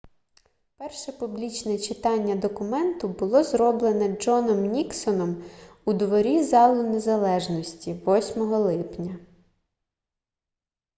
перше публічне читання документу було зроблене джоном ніксоном у дворі залу незалежності 8 липня